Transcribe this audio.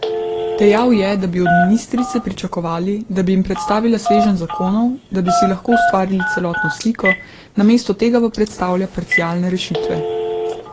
Dejal je, da bi od ministrice pričakovali, da bi jim predstavila sveženj zakonov, da bi si lahko ustvarili celotno sliko, namesto tega pa predstavlja parcialne rešitve.